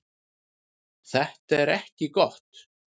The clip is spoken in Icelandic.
Þetta er ekki gott.